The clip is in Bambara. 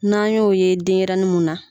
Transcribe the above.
N'an y'o ye denyɛrɛnin mun na